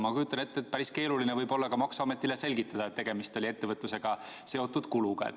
Ma kujutan ette, et päris keeruline võib olla maksuametile selgitada, et tegemist oli ettevõtlusega seotud kuluga.